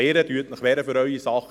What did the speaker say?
Wehren Sie sich für Ihre Sache.